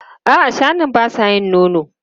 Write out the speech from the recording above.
A'a, shanun ba sa yin nono.